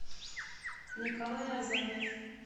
николай азаев